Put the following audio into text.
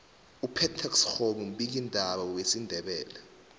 upetex kgomu mbiki ndaba wesindebele